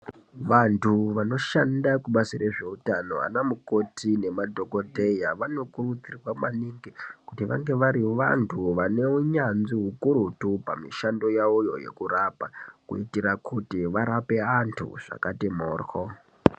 Vantu vanoshanda kubazi rezveutano ana mukoti nemadhokodheya, vanokurudzirwa maningi kuti vange vari vantu vane unyanzvi hukurutu pamishando yavoyo yekurapa. Kuitira kuti varape vantu zvakati mhoryo.